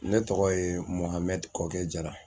Ne tɔgɔ ye Mɔhamɛdi Kɔkɛ Jara